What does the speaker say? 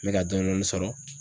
N bɛ ka dɔɔnin dɔɔnin sɔrɔ.